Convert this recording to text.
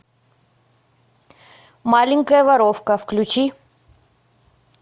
маленькая воровка включи